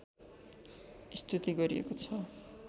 स्तुति गरिएको छ